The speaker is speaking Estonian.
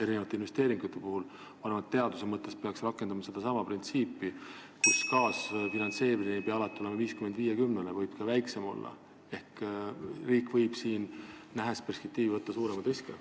Ma arvan, et teaduses peaks rakendama sedasama printsiipi, et kaasfinantseerimine ei pea alati olema 50 : 50, võib ka väiksem olla ehk riik võib siin, nähes perspektiivi, võtta suuremaid riske.